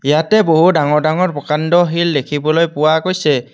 ইয়াতে বহু ডাঙৰ ডাঙৰ প্ৰকাণ্ড শিল দেখিবলৈ পোৱা গৈছে।